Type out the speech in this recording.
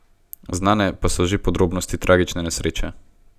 Znane pa so že podrobnosti tragične nesreče.